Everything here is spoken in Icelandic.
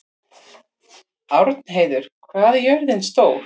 Árnheiður, hvað er jörðin stór?